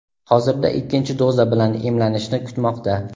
Hozirda ikkinchi doza bilan emlanishni kutmoqda.